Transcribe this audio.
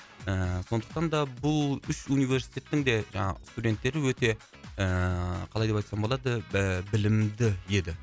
ііі сондықтан да бұл үш университеттің де жаңағы студенттері өте ыыы қалай деп айтсам болады білімді еді